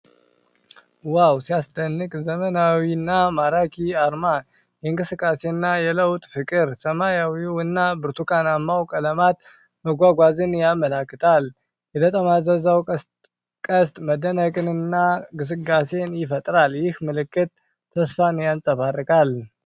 ዋው ሲያስደንቅ! ዘመናዊና ማራኪ አርማ! የእንቅስቃሴና የለውጥ ፍቅር! ሰማያዊውና ብርቱካናማው ቀለማት መጓጓዝን ያመለክታሉ። የተጠማዘዘው ቀስት መደነቅንና ግስጋሴን ይፈጥራል። ይህ ምልክት ተስፋን ያንፀባርቃል!